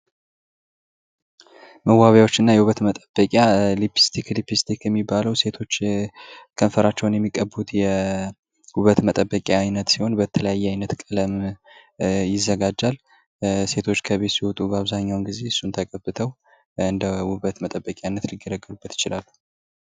መዋቢያዎችና የውበት መጠበቂያ ሊፕስቲክ ሊፕስቲክ የሚባለው ሴቶች ከንፈራቸውን የሚቀቡት የውበት መጠበቂያ አይነት ሲሆን በተለያየ ቀለም ይዘጋጃል ሴቶች ከቤት ሲወጡ በአብዛኛው ጊዜ እሱን ተቀብተው እንደ ውበት መጠበቅያነት ሊገለግሉበት ይችላሉ።